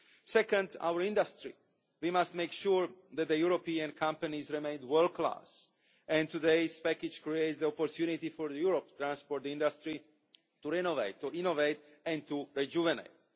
Secondly, our industry we must make sure that European companies remain world class, and today's package creates the opportunity for Europe's transport industry to renovate, innovate and rejuvenate.